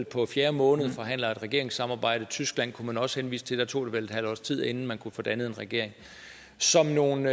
på fjerde måned forhandler et regeringssamarbejde tyskland kunne man også henvise til der tog det vel et halvt års tid inden man kunne få dannet en regering som nogle